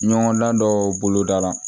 Ɲɔgɔndan dɔw bolo da la